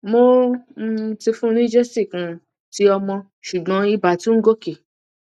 mo um ti fun ni gesic um ti omo ṣùgbọn ibà tún ń gòkè